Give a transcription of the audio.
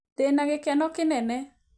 Ndĩna gĩkeno kĩnene